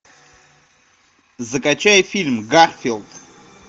закачай фильм гарфилд